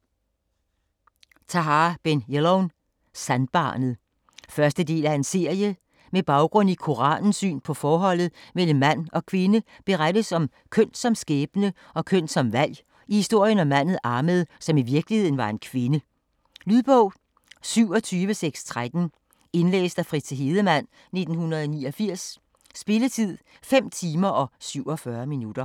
Ben Jelloun, Tahar: Sandbarnet 1. del af serie. Med baggrund i Koranens syn på forholdet mellem mand og kvinde berettes om køn som skæbne og køn som valg i historien om manden Ahmed, som i virkeligheden var en kvinde. Lydbog 27613 Indlæst af Fritze Hedemann, 1989. Spilletid: 5 timer, 47 minutter.